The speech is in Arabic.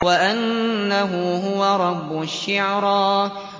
وَأَنَّهُ هُوَ رَبُّ الشِّعْرَىٰ